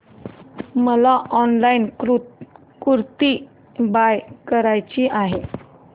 मला ऑनलाइन कुर्ती बाय करायची आहे